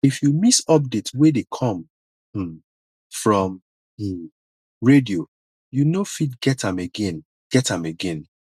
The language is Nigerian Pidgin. if you miss update wey dey come um from um radio you no fit get am again get am again